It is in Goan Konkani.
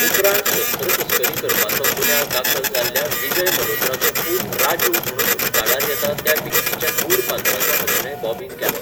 उपरांत शस्त्र तस्करी करपाचो गुन्यांव दाखल जाल्ल्या विजय मल्होत्राचो पूत राजू म्हणून उक्ताडार येता त्या विक्कीच्या गूढ पात्राचो अभिनय बॉबीन केलो.